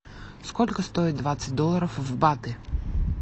сколько стоит двадцать долларов в баты